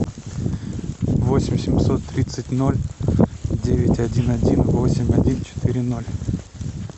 восемь семьсот тридцать ноль девять один один восемь один четыре ноль